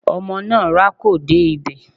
Ọmọ náà rákò dé ibẹ̀.